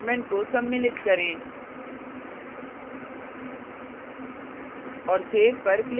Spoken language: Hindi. अब using statement को सम्मिलित करें